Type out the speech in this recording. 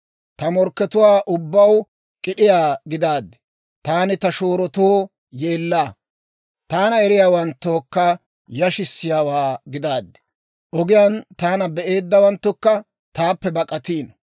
Ta morkkatuwaa ubbaw k'id'd'iyaa gidaaddi taani ta shoorotoo yeellaa, Taana eriyaawanttookka yashissiyaawaa gidaaddi. Ogiyaan taana be'eeddawanttukka taappe bak'atiino.